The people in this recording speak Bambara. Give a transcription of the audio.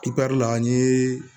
Ipɛr la n'i ye